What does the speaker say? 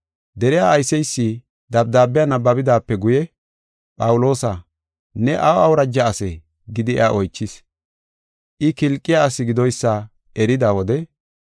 Deriya ayseysi dabdaabiya nabbabidaape guye, “Phawuloosa, ne aw awuraja asee?” gidi iya oychis. I Kilqiya asi gidoysa erida wode,